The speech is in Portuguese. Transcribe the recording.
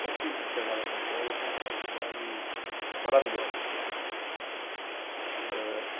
sempre enxergava São Paulo como uma cidade maravilhosa. Eh